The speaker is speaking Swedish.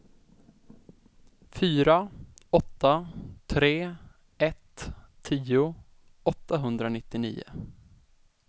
fyra åtta tre ett tio åttahundranittionio